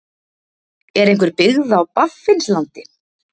Er einhver byggð á Baffinslandi?